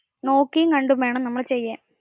നോക്കിയും കണ്ടും വേണം നമ്മൾ ചെയ്യാൻ